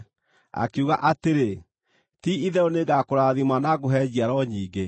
akiuga atĩrĩ, “Ti-itherũ nĩngũkũrathima na ngũhe njiaro nyingĩ.”